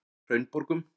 Hraunborgum